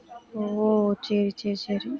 ஓ, சரி, சரி, சரி